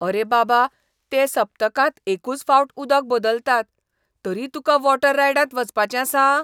अरे बाबा, ते सप्तकांत एकूच फावट उदक बदलतात, तरी तुका वॉटर रायडांत वचपाचें आसा?